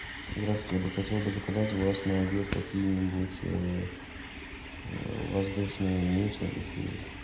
здравствуйте я бы хотел бы заказать у вас на обед какие нибудь воздушные мюсли если есть